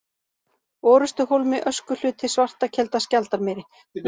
Orustuhólmi, Öskuhluti, Svartakelda, Skjaldarmýri